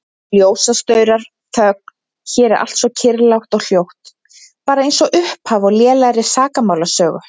Ljósastaurar, þögn, hér er allt svo kyrrlátt og hljótt, bara einsog upphaf á lélegri sakamálasögu.